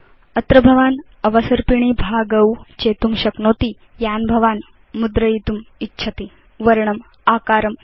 अत्र भवान् अवसर्पिणी भागान् चेतुं शक्नोति यान् भवान् मुद्रयितुम् इच्छति वर्णम् आकारं च